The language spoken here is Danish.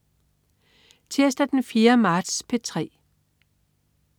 Tirsdag den 4. marts - P3: